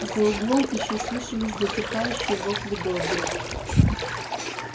за углом ещё слышались затихающие вопли добби